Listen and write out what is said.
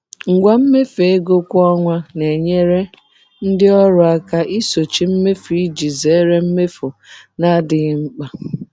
Ngwa mmefu ego kwa ọnwa na-enyere ndị ọrụ aka isochi mmefu iji zere mmefu na-adịghị mkpa.